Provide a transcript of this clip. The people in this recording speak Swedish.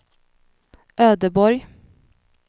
Ödeborg